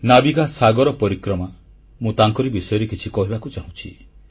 ନାବିକ ସାଗର ପରିକ୍ରମା ମୁଁ ତାଙ୍କରି ବିଷୟରେ କିଛି କହିବାକୁ ଚାହୁଁଛି